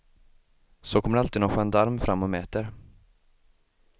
Så kommer det alltid någon gendarm fram och mäter.